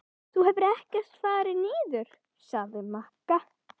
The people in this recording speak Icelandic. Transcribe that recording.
Þú hefur ekkert farið niður, sagði Magga.